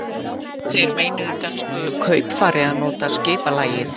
Þeir meinuðu dönsku kaupfari að nota skipalægið.